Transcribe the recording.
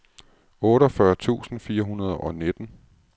otteogfyrre tusind fire hundrede og nitten